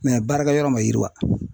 baarakɛ yɔrɔ ma yiriwa.